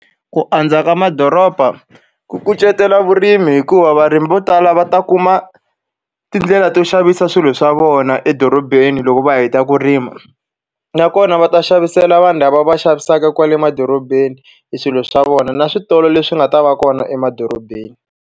Ku andza ka madoroba ku kucetela vurimi hikuva varimi vo tala va ta kuma tindlela to xavisa swilo swa vona edorobeni loko va heta ku rima. Nakona va ta xavisela vanhu lava va xavisaka kwale emadorobeni e swilo swa vona, na switolo leswi nga ta va kona emadorobeni.